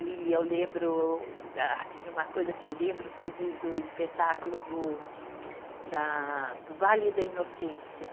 E eu lembro, assim uma coisa que eu lembro foi de do espetáculo do, da do Vale da Inocência.